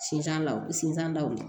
Sinzan sinzan na